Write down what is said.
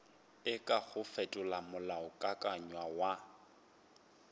e kago fetola molaokakanywa wa